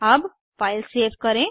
अब file save करें